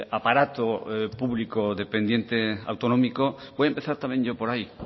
aparato público dependiente autonómico voy a empezar también yo por ahí